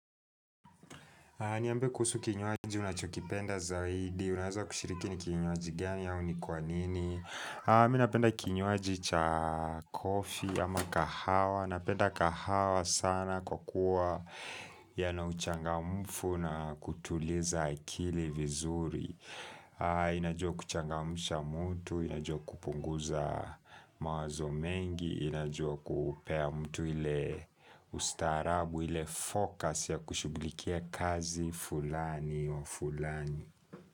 Niambe kuhusu kinywaji unachokipenda zaidi Unaweza kushiriki ni kinywaji gani au ni kwa nini Mimi napenda kinywaji cha coffee ama kahawa Napenda kahawa sana kwa kuwa Yanauchangamfu na kutuliza akili vizuri Inajua kuchangamusha mtu Inajua kupunguza mawazo mengi Inajua kupea mtu ile ustaarabu ile fokasi ya kushughulikia kazi fulani wa fulani.